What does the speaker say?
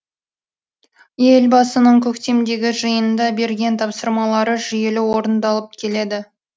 елбасының көктемдегі жиында берген тапсырмалары жүйелі орындалып келеді